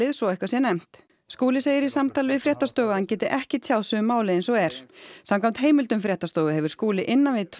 svo eitthvað sé nefnt Skúli segir í samtali við fréttastofu að hann geti ekki tjáð sig um málið eins og er samkvæmt heimildum fréttastofu hefur Skúli innan við tvær